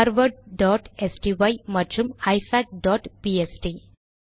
harvardஸ்டை மற்றும் ifacபிஎஸ்டி